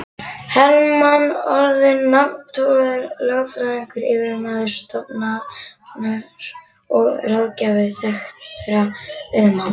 Hermann orðinn nafntogaður lögfræðingur, yfirmaður stofunnar og ráðgjafi þekktra auðmanna.